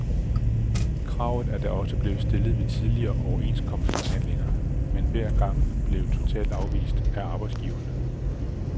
Kravet er da også blevet stillet ved tidligere overenskomstforhandlinger, men hver gang blevet totalt afvist af arbejdsgiverne.